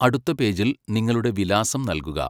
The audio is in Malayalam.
അടുത്ത പേജിൽ നിങ്ങളുടെ വിലാസം നൽകുക.